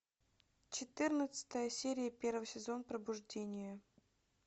четырнадцатая серия первый сезон пробуждение